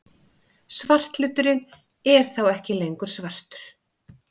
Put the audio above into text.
Svarthluturinn er þá ekki lengur svartur!